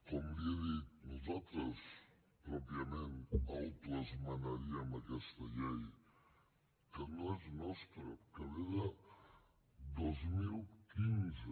com li he dit nosaltres pròpiament autoesmenaríem aquesta llei que no és nostra que ve de dos mil quinze